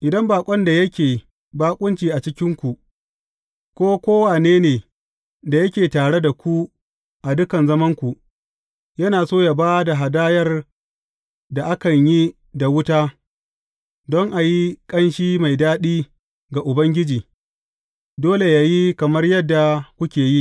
Idan baƙon da yake baƙunci a cikinku, ko kowane ne da yake tare da ku a dukan zamananku, yana so yă ba da hadayar da akan yi da wuta don a yi ƙanshi mai daɗi ga Ubangiji, dole yă yi kamar yadda kuke yi.